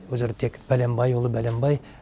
ол жерде тек пәленбайұлы пәленбай